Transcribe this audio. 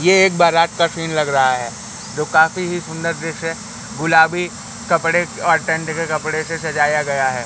यह एक बारात का सीन लग रहा है जो काफी ही सुंदर देश है गुलाबी कपड़े टेंट के कपड़े से सजाया गया है।